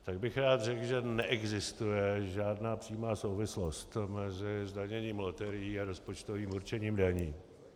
Tak bych rád řekl, že neexistuje žádná přímá souvislost mezi zdaněním loterií a rozpočtovým určením daní.